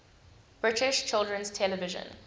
british children's television